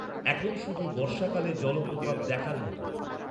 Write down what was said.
এখন শুধু বর্ষাকালে জলপ্রপাত দেখার মতো।